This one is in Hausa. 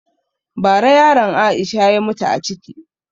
Ba ra yaran Aisha ya mutu a ciki